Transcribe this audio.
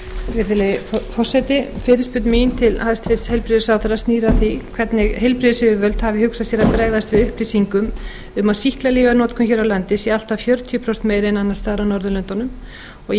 virðulegi forseti fyrirspurn mín til hæstvirts heilbrigðisráðherra snýr að því hvernig heilbrigðisyfirvöld hafi hugsað sér að bregðast við upplýsingum um að sýklalyfjanotkun hér á landi sé allt að fjörutíu prósent meiri en annars staðar á norðurlöndunum og